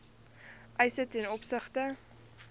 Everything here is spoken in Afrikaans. eise ten opsigte